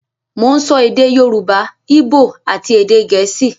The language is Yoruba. Mo ń sọ èdè Yorùbá, Íbò àti èdè Gẹ̀ẹ́sì